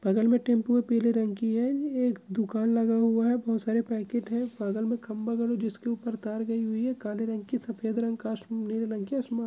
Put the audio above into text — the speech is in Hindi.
बगल में टेम्पो पिले रंग की है। एक दुकान है बहुत सारे पैकेट है बगल में खम्भा लगा जिसके ऊपर तार गयी हुई है काले रंग की सफ़ेद रंग का --